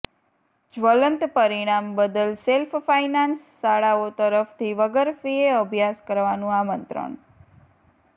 જ્વલંત પરિણામ બદલ self finance શાળાઓ તરફથી વગર ફિએ અભ્યાસ કરવાનું આમંત્રણ